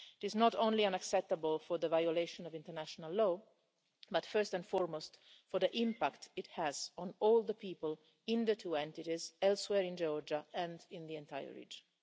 It is not only unacceptable for the violation of international law, but first and foremost for the impact it has on all the people in the two entities, elsewhere in Georgia and in the entire region.